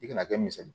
I kana kɛ misali ye